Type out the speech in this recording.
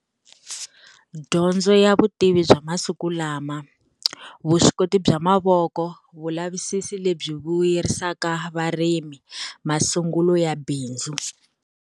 Dyondzo ya vutivi bya masiku lama. Vuswikoti bya mavoko, vulavisisi lebyi vuyerisaka varimi masungulo ya bindzu.